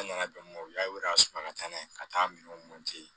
An nana bɛn o y'a sɔrɔ ka taa n'a ye ka taa minɛnw